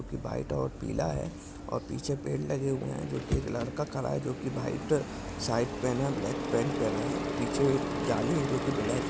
जो कि व्हाइट और पिला है और पिछे पेड़ लगे हुए है जो कि एक लडका खड़ा है जो कि व्हाइट शर्ट पहना है ब्लॅक पैंट पहना है पिछे एक जाली है ब्लॅक --